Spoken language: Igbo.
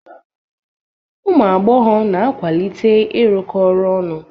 Ụmụ agbọghọ na-akwalite ịrụkọ ọrụ ọnụ.